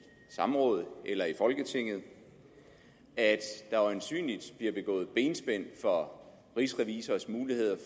samrådet eller i folketinget at der øjensynligt bliver begået benspænd for rigsrevisors muligheder